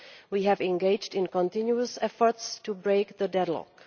We have engaged in continuous efforts to break the deadlock.